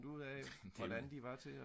ud af hvordan de var til at